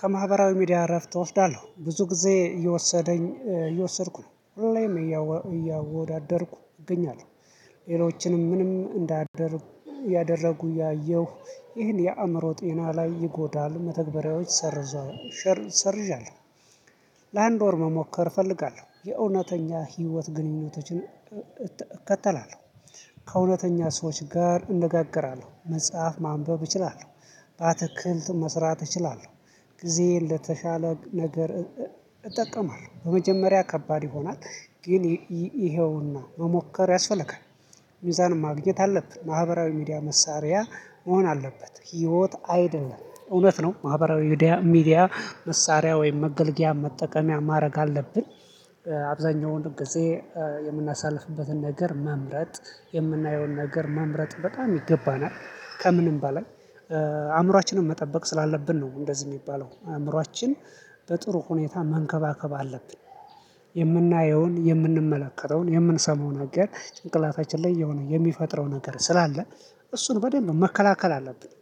ከማህበራዊ ሚዲያ እረፍት እወስዳለሁ ብዙ ጊዜ እየወሰደኝ እየወሰድኩ ነው ሪሌም እያወዳደርኩ እገኛለሁ ሌሎችንም ምንም እንዳደርኩ ያደረጉ ያየሁ ይህን የአእምሮ ጤና ላይ ይጎዳሉ መተግበሪያዎች ሰርዟል ሰርዣለሁ። ለአንድ ወር መሞከር እፈልጋለሁ የእውነተኛ ህይወት ግንኙነቶችን። እከተላለሁ ከእውነተኛ ሰዎች ጋር እነጋገራለሁ መጽሐፍ ማንበብ እችላለሁ። በአትክልት መስራት እችላለሁ ጊዜ ለተሻለ ነገር። እጠቀማለሁ በመጀመሪያ ከባድ ይሆናል ግን ይሄውና መሞከር ያስፈልጋል። ሚዛንም ማግኘት አለብን ማህበራዊ ሚዲያ መሳሪያ መሆን አለበት። ህይወት አይደለም እውነት ነው ማህበራዊ ሚዲያ መሳሪያ ወይም መገልገያ መጠቀሚያ ማረግ አለብን። አብዛኛው ወንድም ጊዜ የምናሳልፍበትን ነገር መምረጥ የምናየውን ነገር መምረጥ በጣም ይገባናል ከምንም በላይ አእምሮአችንን መጠበቅ ስላለብን ነው። እንደዚህ የሚባለው አእምሮአችን በጥሩ ሁኔታ መንከባከብ አለብን። የምናየውን የምንመለከተውን የምንሰማውን አጋር ጭንቅላታችን ላይ የሆነ የሚፈጥረው ነገር ስላለ እሱን በደንብ መከላከል አለብን።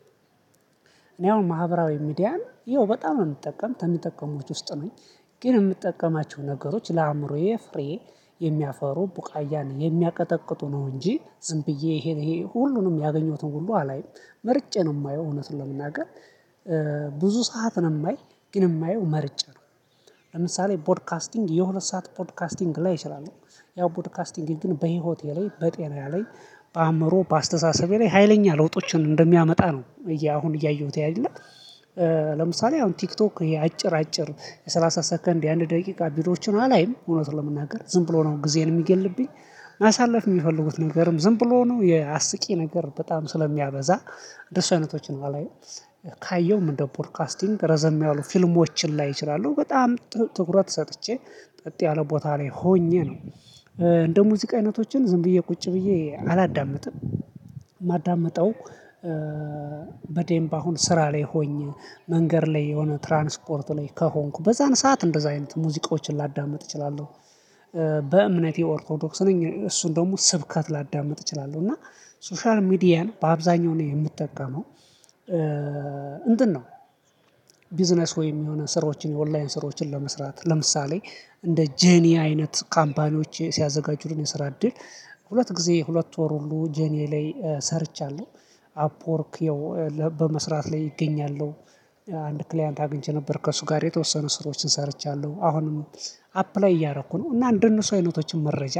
እኔ አሁን ማህበራዊ ሚዲያን ይኸው በጣም ነው የምጠቀም ከምተቀሙት ውስጥ ነኝ። ግን የምጠቀማቸው ነገሮች ለአእምሮዬ ፍሬ የሚያፈሩ ቡቃያ ነው የሚያቀጠቅጡ ነው እንጂ ዝም ብዬ ይሄ ይሄ ሁሉንም ያገኘሁትን ሁሉ አላይም። ምርጫ ነው የማየው እውነት ለመናገር። ብዙ ሰዓት ነው የማይ ግን የማየው መርጬ ነው። ለምሳሌ ፖድካስቲንግ የሁለት ሰዓት ፖድካስቲንግ ላይ እችላለሁ። ያው ፖድካስቲንግ ግን በህይወቴ ላይ በጤና ላይ በአእምሮ በአስተሳሰቤ ላይ ሀይለኛ ለውጦችን እንደሚያመጣ ነው። አሁን እያየሁት ያለህ። ለምሳሌ አሁን ቲክቶክ ይሄ አጭር አጭር የሰላሳ ሰከንድ የአንድ ደቂቃ ቢዶዎችን አላይም እውነት ለመናገር ዝም ብሎ ነው ጊዜን የሚገልብኝ። ማሳለፍ የሚፈልጉት ነገርም ዝም ብሎ ነው የአስቂ ነገር በጣም ስለሚያበዛ እንደሱ አይነቶች አላይም። ካየውም እንደ ፖድካስቲንግ ረዘም ያሉ ፊልሞችን ላይ እችላለሁ በጣም ትኩረት ሰጥቼ ጠጥ ያለ ቦታ ላይ ሆኜ ነው። እንደ ሙዚቃ አይነቶችን ዝም ብዬ ቁጭ ብዬ አላዳምጥም። ማዳምጠው። በደምብ አሁን ስራ ላይ ሆኜ መንገድ ላይ የሆነ ትራንስፖርት ላይ ከሆንኩ በዛን ሰዓት እንደዛ አይነት ሙዚቃዎችን ላዳምጥ እችላለሁ። በእምነቴ ኦርቶዶክስ ነኝ እሱን ደግሞ ስብከት ላዳምጥ እችላለሁ እና ሶሻል ሚዲያን በአብዛኛው እኔ የምጠቀመው ነው። ቢዝነስ ወይም የሆነ ስራዎችን የኦንላይን ስራዎችን ለመስራት ለምሳሌ እንደ ጄንአይ አይነት ካምፓኒዎች ሲያዘጋጁን የሰራ እድል ሁለት ጊዜ ሁለት ወር ሁሉ ጄንአይ ላይ ሰርቻለሁ። አፕወርክ ያው በመስራት ላይ እገኛለሁ። አንድ ክሊያንት አግኝቼ ነበር ከእሱ ጋር የተወሰኑ ስራዎችን ሰርቻለሁ አሁንም አፕላይ እያደረኩ ነው። እና እንደነሱ አይነቶችን መረጃ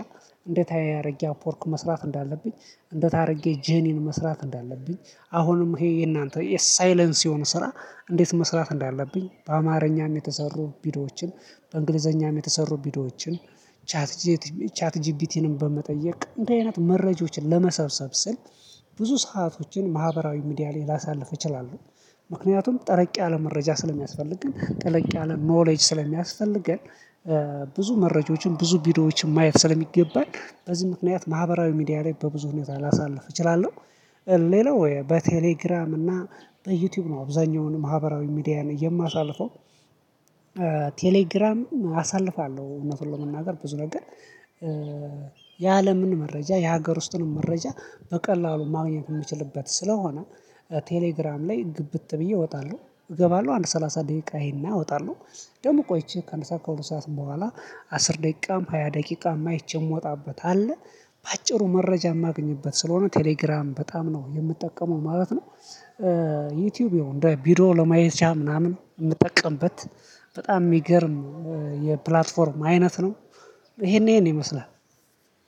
እንዴት አያያርጌ አፖርክ መስራት እንዳለብኝ እንዴት አያደርጌ ጄኒን መስራት እንዳለብኝ አሁንም ይሄ የእናንተ የሳይለንስውን ስራ እንዴት መስራት እንዳለብኝ በአማርኛም የተሰሩ ቢዶዎችን በእንግሊዘኛም የተሰሩ ቢዶዎችን። ቻት ጂፒቲንም በመጠየቅ እንድ አይነት መረጃዎችን ለመሰብሰብ ስል ብዙ ሰአቶችን ማህበራዊ ሚዲያ ላይ ላሳልፍ እችላለሁ። ምክንያቱም ጠለቅ ያለ መረጃ ስለሚያስፈልግ ግን ጠለቅ ያለ ኖሌጅ ስለሚያስፈልገን። ብዙ መረጃዎችን ብዙ ቢዲዮዎችን ማየት ስለሚገባን በዚህ ምክንያት ማህበራዊ ሚዲያ ላይ በብዙ ሁኔታ ላሳልፍ እችላለሁ። ሌላው ወይ በቴሌግራም እና በዩቲዩብ ነው አብዛኛውን ማህበራዊ ሚዲያን የማሳልፈው። ቴሌግራም አሳልፋለሁ እውነቱን ለመናገር ብዙ ነው ግን። የአለምን መረጃ የሀገር ውስጥንም መረጃ በቀላሉ ማግኘት የምችልበት ስለሆነ። ቴሌግራም ላይ ግብት ብዬ እወጣለሁ እገባለሁ አንድ ሰላሳ ደቂቃ እይሄ እወጣለሁ። ደግሞ ቆይቼ ከአንድ ከሁለት ሰዓት በኋላ አስር ደቂቃም ሃያ ደቂቃም አይቼ የምወጣበት አለ። በአጭሩ መረጃ የማገኝበት ስለሆነ ቴሌግራም በጣም ነው የምጠቀመው ማለት ነው። ዩቲዩብ ይሁን እንደ ቢዶ ለማየት ምናምን የምጠቀምበት በጣም የሚገርም የፕላትፎርም አይነት ነው። ይሄን ይሄን ይመስላል